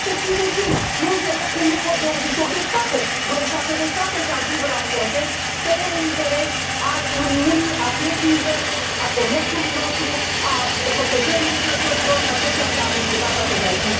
751. Nu înțeleg cum nu pot 28 de state, 27 de state să ajungă la un consens în ceea ce privește un interes al Uniunii, al pieței interne, al comerțului nostru, al protejării lucrătorilor și tot ceea ce am discutat astăzi aici.